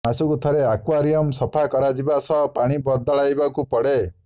ମାସକୁ ଥରେ ଆକ୍ୱାରିୟମ୍ ସଫା କରାଯିବା ସହ ପାଣି ବଦଳାଇବାକୁ ପଡ଼େ